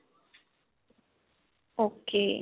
ok.